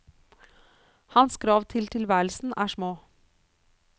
Hans krav til tilværelsen er små.